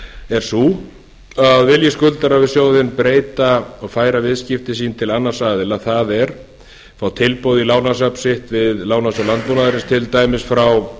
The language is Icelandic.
er sú að vilji skuldarar við sjóðinn færa viðskipti sín til annars aðila það er fá tilboð í lánasafn sitt við lánasjóð landbúnaðarins til dæmis frá